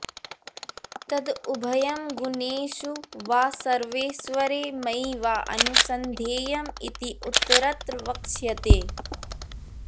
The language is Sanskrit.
तद् उभयं गुणेषु वा सर्वेश्वरे मयि वा अनुसन्धेयम् इति उत्तरत्र वक्ष्यते